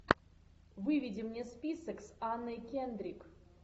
выведи мне список с анной кендрик